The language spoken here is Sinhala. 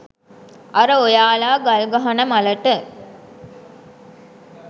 අර ඔයාල ගල් ගහන මලට